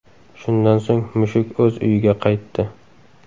Shundan so‘ng mushuk o‘z uyiga qaytdi.